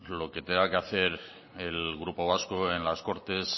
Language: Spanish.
lo que tenga que hacer el grupo vasco en las cortes